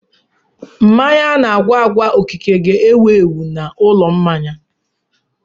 Mmanya ana-agwa agwa okike ga-ewu ewu n'ụlọ mmanya.